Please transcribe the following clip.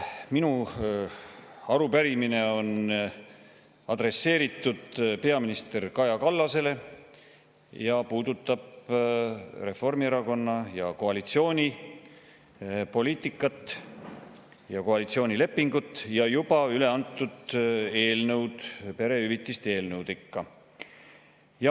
Minu arupärimine on adresseeritud peaminister Kaja Kallasele, see puudutab Reformierakonna ja koalitsiooni poliitikat ja koalitsioonilepingut ning juba üleantud eelnõu, perehüvitiste eelnõu ikka.